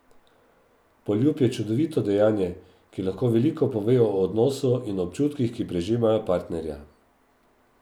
Poljub je čudovito dejanje, ki lahko veliko pove o odnosu in občutkih, ki prežemajo partnerja.